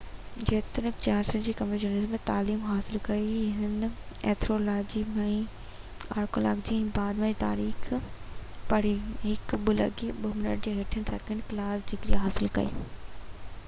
جيتوڻيڪ، Charles Trinity College Cambridge University ۾ تعليم حاصل ڪئي جتي هن اينٿروپولاجي ۽ آرڪيالاجي، ۽ بعد ۾ تاريخ پڙهي، هڪ 2:2 هيٺين سيڪنڊ ڪلاس ڊگري حاصل ڪئي